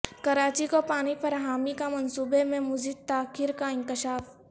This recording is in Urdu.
کراچی کو پانی فراہمی کا منصوبے میں مزید تاخیر کا انکشاف